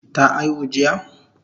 Ta aihu jiya?